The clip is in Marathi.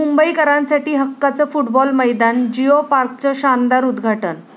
मुंबईकरांसाठी हक्काचं फुटबॉल मैदान, जियो पार्कचं शानदार उद्घाटन